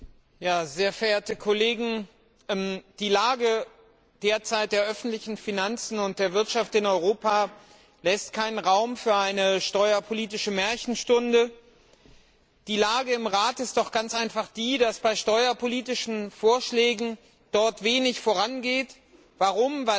Herr Präsident! Sehr verehrte Kollegen! Die derzeitige Lage der öffentlichen Finanzen und der Wirtschaft in Europa lässt keinen Raum für eine steuerpolitische Märchenstunde. Die Lage im Rat ist doch ganz einfach die, dass bei steuerpolitischen Vorschlägen dort wenig vorangeht. Warum?